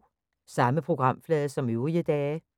Samme programflade som øvrige dage